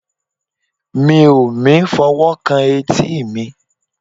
mi o mi fọ owo kan eti mi